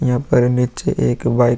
यहाँ पर नीचे एक बाइक --